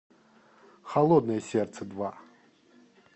холодное сердце два